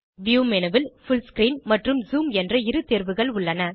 view menu ல் full screen மற்றும் zoom என்ற இரு தேர்வுகள் உள்ளன